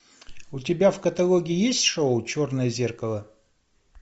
у тебя в каталоге есть шоу черное зеркало